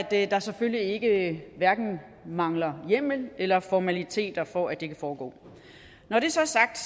der der selvfølgelig ikke mangler hjemmel eller formaliteter for at det kan foregå når det så er sagt